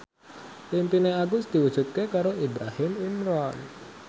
impine Agus diwujudke karo Ibrahim Imran